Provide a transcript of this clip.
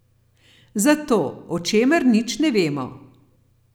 Za to, o čemer nič ne vemo.